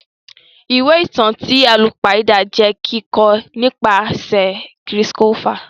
Ìwé ìtàn ti àlùpàídà jẹ kikọ nìpasẹ̀ Chris Colfer.